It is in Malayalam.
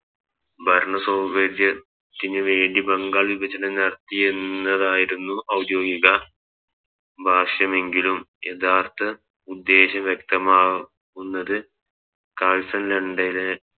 ഭരണ സൗകര്യത്തിന് വേണ്ടി ബംഗാൾ വിഭജനം നടത്തി എന്നതായിരുന്നു ഔദ്യോഗിക എങ്കിലും യഥാർത്ഥ ഉദ്ദേശം വ്യക്തമാകുന്നത് കാഴ്സ്ൺ ലണ്ടലെ